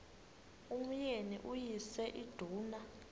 umyeni uyise iduna